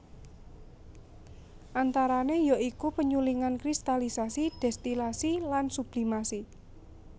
Antarane ya iku penyulingan kristalisasi destilasi lan sublimasi